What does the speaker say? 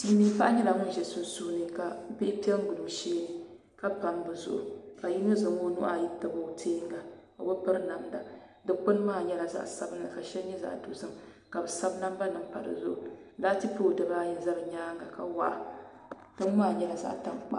Sili miin paɣa nyɛla ŋjun ʒi sunsuuni ka bihi pɛ n gili o sheeni ka pam bɛ zuɣuri ka yinɔ zan o nuhi ayi n tabi o teeŋa o bɛ piri namda, dukpuni maa nyɛla zaɣ sabinli ka shɛli zaɣ dozim ka bɛ sabi namba nim pa dizuɣu laati pooli dibaa ayi ʒɛ la nimaani ka waɣa ting maa nyɛla zaɣ' tankpaɣu